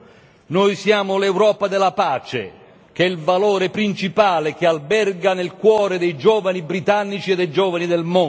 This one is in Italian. noi siamo l'Europa della pace, che è il valore principale che alberga nel cuore dei giovani britannici e dei giovani del mondo.